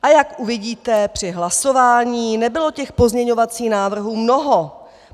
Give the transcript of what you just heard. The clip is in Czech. A jak uvidíte při hlasování, nebylo těch pozměňovacích návrhů mnoho.